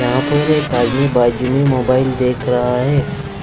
यहां पर एक आदमी बाजू में मोबाइल देख रहा है